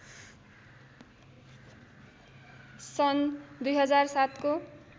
सन् २००७ को